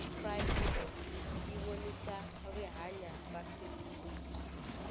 cry freedom yivonisa rihhanya ra steve biko